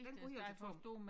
Den ryger til tom